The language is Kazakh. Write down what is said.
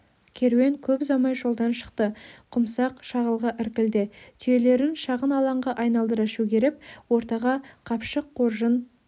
керуен көп ұзамай жолдан шықты құмсақ шағылға іркілді түйелерін шағын алаңға айналдыра шөгеріп ортаға қапшық қоржын